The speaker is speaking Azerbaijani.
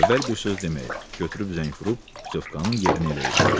Əvvəl bir söz deməyib, götürüb zəng vurub putyovkanın yerini eləyib.